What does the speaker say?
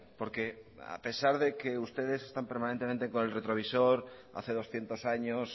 porque a pesar de que ustedes están permanentemente con el retrovisor hace doscientos años